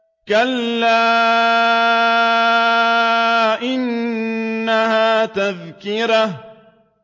كَلَّا إِنَّهَا تَذْكِرَةٌ